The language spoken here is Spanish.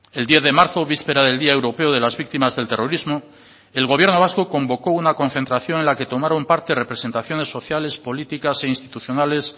el diez de marzo víspera del día europeo de las víctimas del terrorismo el gobierno vasco convocó una concentración en la que tomaron parte representaciones sociales políticas e institucionales